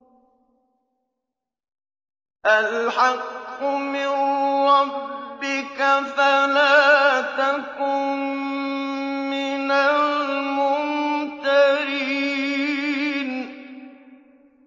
الْحَقُّ مِن رَّبِّكَ فَلَا تَكُن مِّنَ الْمُمْتَرِينَ